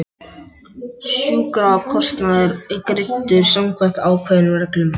Sjúkrakostnaður er greiddur samkvæmt ákveðnum reglum.